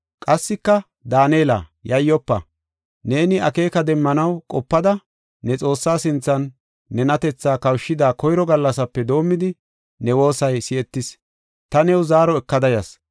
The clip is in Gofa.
Qassika, “Daanela, yayyofa! Neeni akeeka demmanaw qopada, ne Xoossaa sinthan nenatethaa kawushida koyro gallasape doomidi, ne woosay si7etis; ta new zaaro ekada yas.